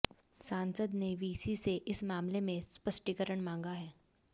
सांसद ने वीसी से इस मामले में स्पष्टीकरण मांगा है